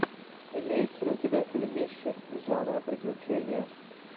имеется ли у тебя фильмище жанра приключения